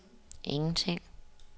ingenting